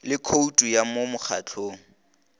le khoutu ya mo mokgahlong